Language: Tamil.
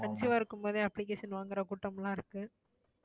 conceive ஆ இருக்கும் போதே application வாங்குற கூட்டம் எல்லாம் இருக்கு